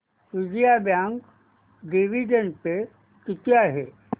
Vijaya bank dividend pay किती आहे